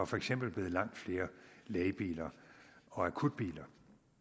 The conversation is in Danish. for eksempel blevet langt flere lægebiler og akutbiler